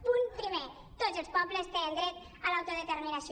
punt primer tots els pobles tenen dret a l’autodeterminació